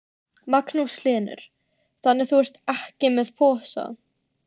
Magnús Hlynur: Þannig að þú ert ekki með posa?